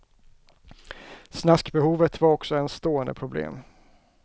Snaskbehovet var också ens stående problem.